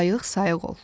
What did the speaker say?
Ayıq-sayıq ol.